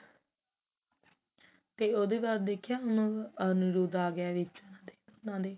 ਉਹਦੇ ਬਾਅਦ ਦੇਖਿਆ ਅਨੁਰੂਦ ਆ ਗਿਆ ਵਿੱਚ ਉਹਨਾ ਦੇ